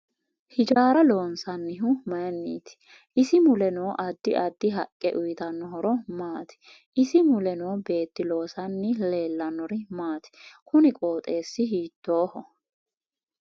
Hijaara loonsanihu mayiiniiti isi mule noo addi addi haqqe uyiitanno horo maati isi mule noo beeti loosanni leelannori maati kuni qooxeesi hiitooho